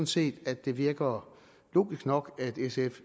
set at det virker logisk nok at sf